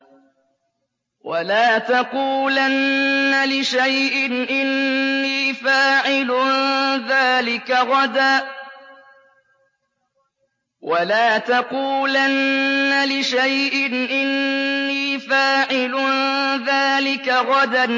وَلَا تَقُولَنَّ لِشَيْءٍ إِنِّي فَاعِلٌ ذَٰلِكَ غَدًا